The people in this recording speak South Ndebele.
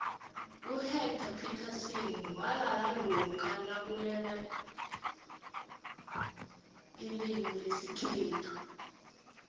uhectarr phithasini nalala lokha nakulwelwailimulesikhethu